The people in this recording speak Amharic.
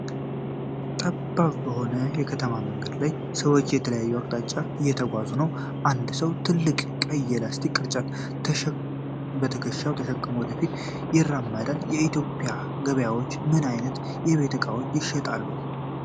ጠባብ በሆነ የከተማ መንገድ ላይ ሰዎች በተለያዩ አቅጣጫዎች እየተጓዙ ነው። አንድ ሰው ትልቅ ቀይ የፕላስቲክ ቅርጫት በትከሻው ተሸክሞ ወደ ፊት ይራመዳል። በኢትዮጵያ ገበያዎች ምን ዓይነት የቤት እቃዎች ይሸጣሉ?